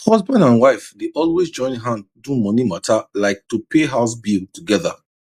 husband and wife dey always join hand do money mata like to pay house bill together